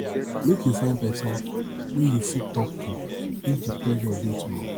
make you find pesin wey you fit tok to if di pressure dey too much